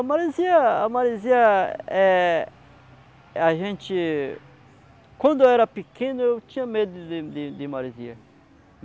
A maresia, a maresia, eh eh a gente... Quando eu era pequeno, eu tinha medo de de de maresia.